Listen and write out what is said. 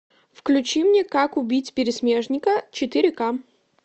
включи мне как убить пересмешника четыре к